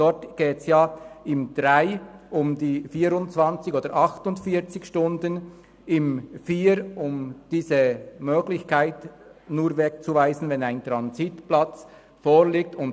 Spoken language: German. Dort geht es im Absatz 3 um die 24 oder 48 Stunden und im Absatz 4 um die Möglichkeit, nur wegzuweisen, wenn ein Transitplatz vorhanden ist.